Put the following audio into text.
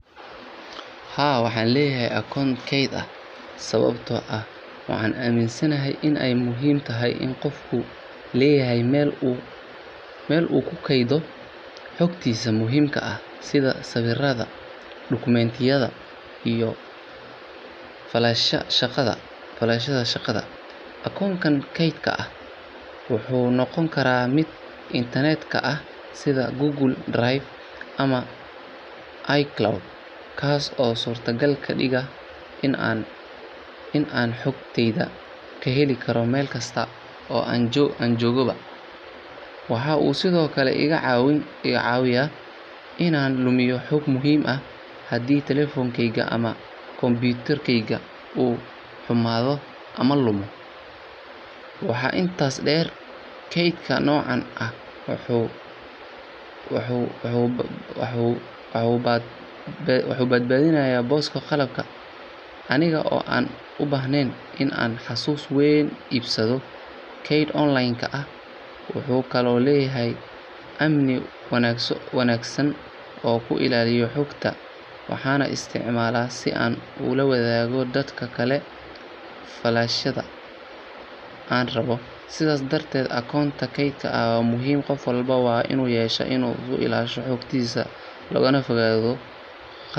Haa, waxaan leeyahay akoonto kayd ah sababtoo ah waxaan aaminsanahay in ay muhiim tahay in qofku leeyahay meel uu ku kaydiyo xogtiisa muhiimka ah sida sawirrada, dukumiintiyada, iyo faylasha shaqada. Akoonkan kaydka ah wuxuu noqon karaa mid internetka ah sida Google Drive ama iCloud kaas oo suurtagal ka dhiga in aan xogtayda ka heli karo meel kasta oo aan joogaba. Waxa uu sidoo kale iga caawiyaa inaan lumiyo xog muhiim ah haddii telefoonkeyga ama kombiyuutarkeyga uu xumaado ama lumo. Waxaa intaas dheer, kaydka noocan ah wuxuu badbaadinayaa booska qalabka aniga oo aan u baahnayn in aan xasuus weyn iibsado. Kaydka online-ka ah wuxuu kaloo leeyahay amni wanaagsan oo ku ilaaliya xogta, waxaana isticmaalaa si aan ula wadaago dadka kale faylasha aan rabbo. Sidaas darteed, akoonto kayd ah waa muhiim qof walbana waa inuu yeeshaa si uu u ilaashado xogtiisa loogana fogaado khasaaro lama filaan ah.